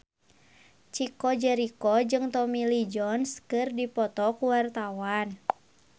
Chico Jericho jeung Tommy Lee Jones keur dipoto ku wartawan